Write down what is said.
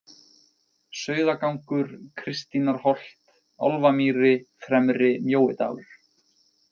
Sauðagangur, Kristínarholt, Álfamýri, Fremri- Mjóidalur